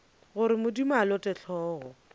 gore modimo a lote hlogo